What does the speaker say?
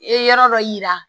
E yɔrɔ dɔ yira